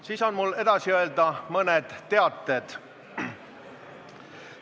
Siis on mul edasi öelda mõned teated.